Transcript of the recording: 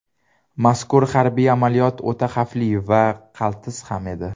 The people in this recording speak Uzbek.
Mazkur harbiy amaliyot o‘ta xavfli va qaltis ham edi.